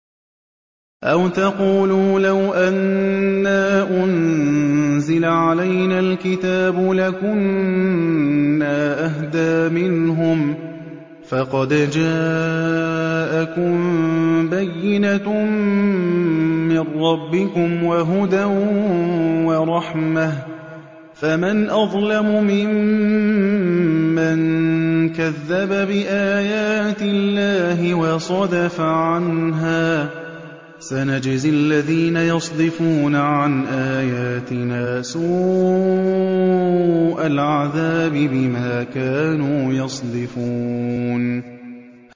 أَوْ تَقُولُوا لَوْ أَنَّا أُنزِلَ عَلَيْنَا الْكِتَابُ لَكُنَّا أَهْدَىٰ مِنْهُمْ ۚ فَقَدْ جَاءَكُم بَيِّنَةٌ مِّن رَّبِّكُمْ وَهُدًى وَرَحْمَةٌ ۚ فَمَنْ أَظْلَمُ مِمَّن كَذَّبَ بِآيَاتِ اللَّهِ وَصَدَفَ عَنْهَا ۗ سَنَجْزِي الَّذِينَ يَصْدِفُونَ عَنْ آيَاتِنَا سُوءَ الْعَذَابِ بِمَا كَانُوا يَصْدِفُونَ